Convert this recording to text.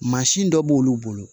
Mansin dɔ b'olu bolo